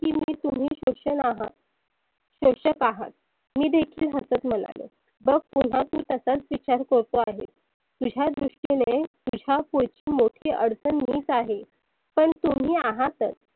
तुम्ही सोशन आहात. सोषक आहात. मी देखील हसत म्हणालो. बघ पुन्हा तु तसाच विचार करतो आहेस. तुझ्या दृष्टीने तुझ्या पुढच्या मोठी अडचन मीच आहे. पण तुम्ही आहातच.